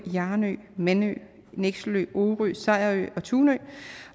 jarnø manø nekselø orø sejrø og tunø